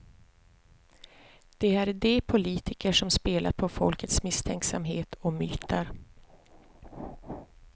Det är de politiker som spelat på folkets misstänksamhet och myter.